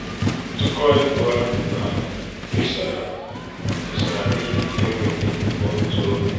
ntụkọ ego áhù tisara tisara n'ihi enweghị ọtụ obi.